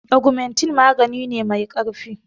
Augmentin magani ne mai ƙarfi.